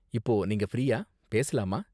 இப்போ நீங்க ஃப்ரீயா, பேசலாமா?